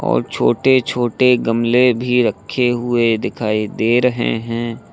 और छोटे छोटे गमले भी रखे हुए दिखाई दे रहे हैं।